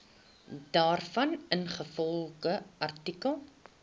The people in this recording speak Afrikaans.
daarvan ingevolge artikel